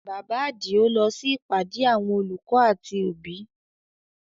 Bàbá Adio lọ sí ìpàdé àwọn olùkọ́ àti òbí